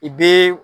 I bɛ